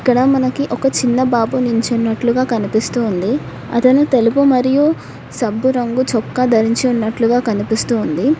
ఇక్కడ మనకి ఒక చిన్న బాబు నుంచున్నట్లుగా కనిపిస్తూ ఉంది అతను తెలుపు మరియు సబ్బు రంగు చొక్కా ధరించి ఉన్నట్లుగా కనిపిస్తూ ఉంది.